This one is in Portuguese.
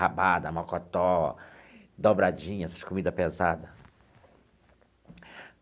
Rabada, macotó, dobradinha, essas comida pesada.